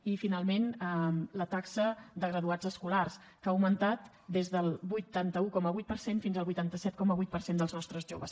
i finalment la taxa de graduats escolars que ha augmentat des del vuitanta un coma vuit per cent fins al vuitanta set coma vuit per cent dels nostres joves